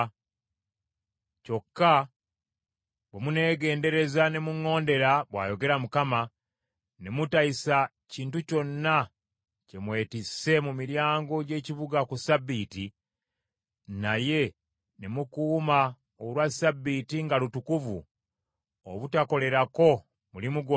Kyokka bwe muneegendereza ne muŋŋondera, bw’ayogera Mukama , ‘ne mutayisa kintu kyonna kye mwetisse mu miryango gy’ekibuga ku ssabbiiti, naye ne mukuuma olwa Ssabbiiti nga lutukuvu obutakolerako mulimu gwonna,